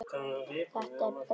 Þetta er breytt í dag.